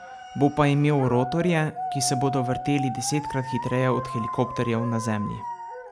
Bo pa imel rotorje, ki se bodo vrteli desetkrat hitreje od helikopterjev na Zemlji.